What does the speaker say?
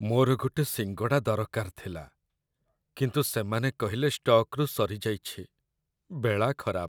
ମୋର ଗୋଟେ ସିଙ୍ଗଡ଼ା ଦରକାର ଥିଲା କିନ୍ତୁ ସେମାନେ କହିଲେ ଷ୍ଟକ୍‌ରୁ ସରିଯାଇଛି, ବେଳା ଖରାପ ।